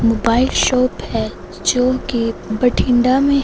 mobile shop है जोकी भटिंडा में--